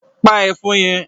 Pa ẹ̀fọn yẹn!